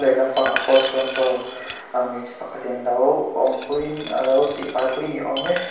lampangah pawh sawn saw ahh hmeichhe pakhat in alo awmpuia in alo tihfai pui niawm e--